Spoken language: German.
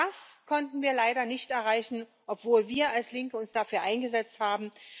Das konnten wir leider nicht erreichen, obwohl wir als Linke uns dafür eingesetzt haben.